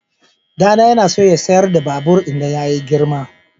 Ɗana yana so ya sayar da babur idan ya girma.